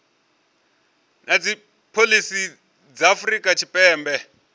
na dzipholisi dza afrika tshipembe